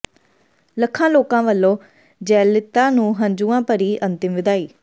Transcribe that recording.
ਲੱਖਾਂ ਲੋਕਾਂ ਵੱਲੋਂ ਜੈਲਲਿਤਾ ਨੂੰ ਹੰਝੂਆਂ ਭਰੀ ਅੰਤਿਮ ਵਿਦਾਈ